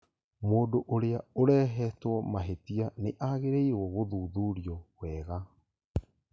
Mũndũ ũrĩa ũreehetwo mahĩtia nĩ agĩrĩirũo gũthuthurio wega